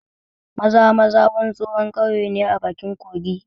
Maza-maza wani tsohon ƙauye ne a bakin kogi